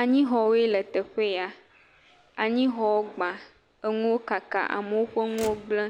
Anyixɔwoe le teƒe ya anyixɔwo gba enuwo kaka, amewo ƒe nuwo gblẽ,